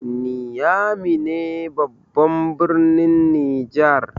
Niamey ne babban birnin Nijar.